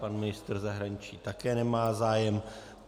Pan ministr zahraničí také nemá zájem.